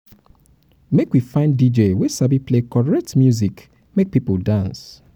make we find dj wey sabi play correct music make pipo dance.